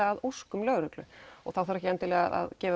að óskum lögreglu þá þarf ekki endilega að gefa